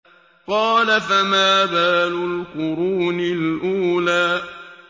قَالَ فَمَا بَالُ الْقُرُونِ الْأُولَىٰ